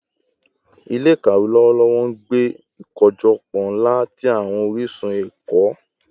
Ile-ikawe lọwọlọwọ n gbe ikojọpọ nla ti awọn orisun ẹkọ